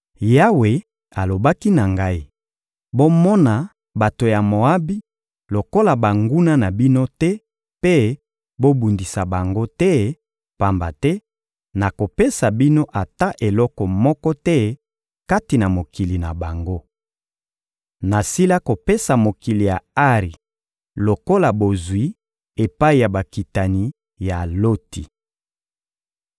Yawe alobaki na ngai: «Bomona bato ya Moabi lokola banguna na bino te mpe bobundisa bango te, pamba te nakopesa bino ata eloko moko te kati na mokili na bango. Nasila kopesa mokili ya Ari lokola bozwi epai ya bakitani ya Loti.»